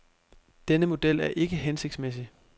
Denne model er ikke hensigtsmæssig.